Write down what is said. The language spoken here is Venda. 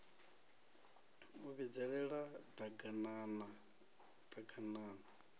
u vhidzelela ḓaganana ḓ aganana